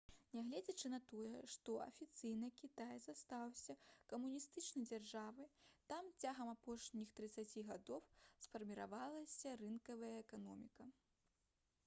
нягледзячы на тое што афіцыйна кітай заставаўся камуністычнай дзяржавай там цягам апошніх трыццаці гадоў сфарміравалася рынкавая эканоміка